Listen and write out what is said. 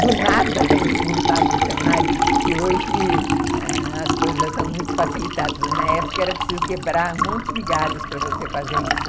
Do nada ele montava um cenário que hoje as coisas são muito facilitadas, mas na época era preciso quebrar um monte de galhos para você fazer isso.